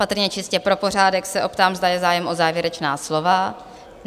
Patrně čistě pro pořádek se optám, zda je zájem o závěrečná slova?